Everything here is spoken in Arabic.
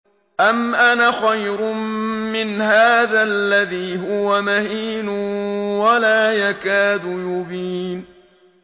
أَمْ أَنَا خَيْرٌ مِّنْ هَٰذَا الَّذِي هُوَ مَهِينٌ وَلَا يَكَادُ يُبِينُ